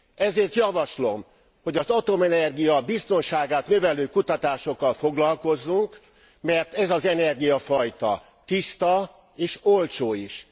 Ezért javaslom, hogy az atomenergia biztonságát növelő kutatásokkal foglalkozzunk, mert ez az energiafajta tiszta és olcsó is.